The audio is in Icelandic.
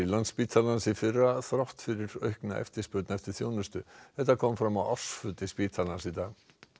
Landspítalans í fyrra þrátt fyrir aukna eftirspurn eftir þjónustu þetta kom fram á ársfundi spítalans í dag